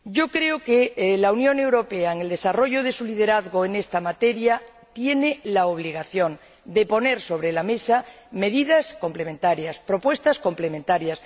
Creo que la Unión Europea, en el desarrollo de su liderazgo en esta materia, tiene la obligación de poner sobre la mesa medidas complementarias, propuestas complementarias.